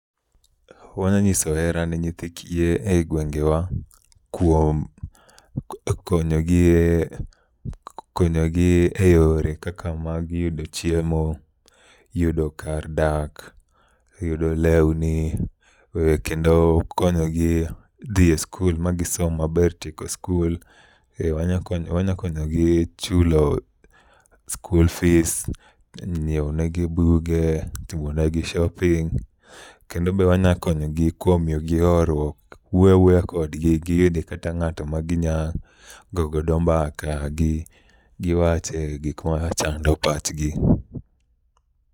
Wanyang'iso hera ne nyithi kiye e gwengewa kuom konyogi e yore kaka mag yudo chiemo, yudo kar dak, yudo lewni kendo konyogi dhi e skul magisom maber tieko skul. Wanyakonyogi chulo school fees, nyieonegi buge, timonegi shopping. Kendo be wanyakonyogi kuom miyogi horuok, wuoyo awuoya kodgi giyude kata ng'atma ginyagogodo mbaka giwache gikmachando pachgi.